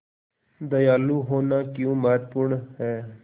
दयालु होना क्यों महत्वपूर्ण है